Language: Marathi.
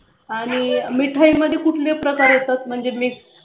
आणि मिठाई मधले कुठले प्रकार येतात म्हणजे ते